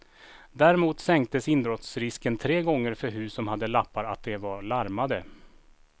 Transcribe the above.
Däremot sänktes inbrottsrisken tre gånger för hus som hade lappar att de var larmade.